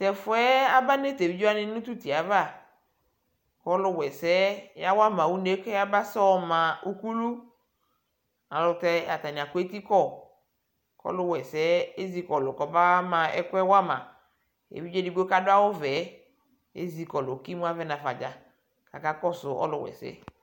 Tɛfʋɛ aba nʋ t'evidzewanɩ nʋ t'utie ava kɔlʋw 'ɛsɛɛ yawama une yɛ ayaba fɔma uklu Ayɛlʋtɛ atanɩ agbɔ eti kɔ : k'ɔlʋwɛsɛɛ ezikɔlʋ kɔka ma ɛkʋɛ wama Evidze edigboe k'adʋ awʋvɛɛ ezikɔlʋ , k'imu avɛ n'afadza k'akakɔsʋ ɔlʋw 'ɛsɛɛ